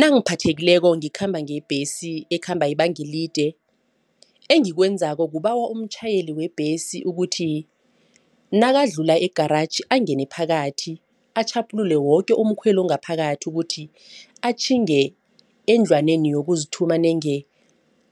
Nangiphathekileko ngikhamba ngebhesi ekhamba ibanga elide. Engikwenzako kubawa umtjhayeli webhesi ukuthi nakadlula egaraji angene phakathi atjhaphulule woke umkhweli ongaphakathi ukuthi atjhinge endlwaneni yokuzithuma nenge